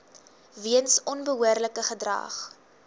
weens onbehoorlike gedrag